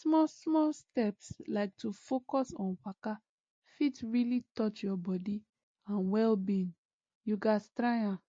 small small steps like to focus on waka fit really touch your body and wellbeing you gatz try am